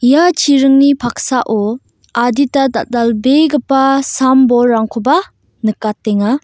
ia chiringni paksao adita dal·dalbegipa sam bolrangkoba nikatenga.